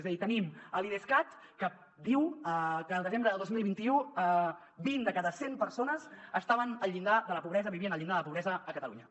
és a dir tenim a l’idescat que diu que al desembre de dos mil vint u vint de cada cent persones estaven al llindar de la pobresa vivien al llindar de la pobresa a catalunya